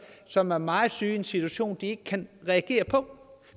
som er meget syge i en situation de ikke kan reagere på